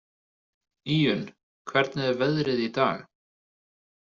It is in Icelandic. Íunn, hvernig er veðrið í dag?